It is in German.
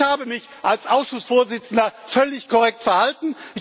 Ich habe mich als Ausschussvorsitzender völlig korrekt verhalten.